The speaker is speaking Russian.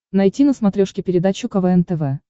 найти на смотрешке передачу квн тв